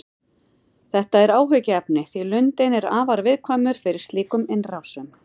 Þetta er áhyggjuefni því lundinn er afar viðkvæmur fyrir slíkum innrásum.